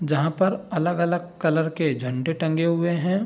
जहाँ पर अलग-अलग कलर के झंडे टंगे हुए हैं।